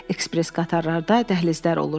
Ekspress qatarlarda dəhlizlər olur.